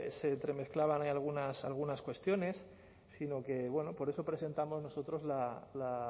se entremezclaban ahí algunas cuestiones sino que bueno por eso presentamos nosotros la